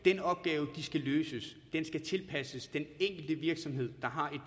den opgave de skal løse skal tilpasses den enkelte virksomhed der har et